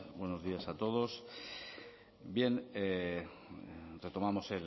buenos días a todos bien retomamos